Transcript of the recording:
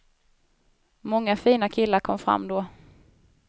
Många fina killar kom fram då.